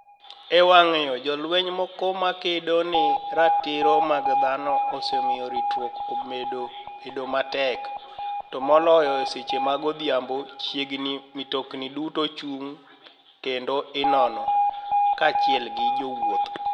E wanig ' yo jolweniy moko makedo ni e ratiro mag dhano osemiyo ritruok omed bedo matek, to moloyo e seche mag odhiambo chiegnii nii mtoknii duto ichunig ' kenido inono, kachiel gi jowuoth.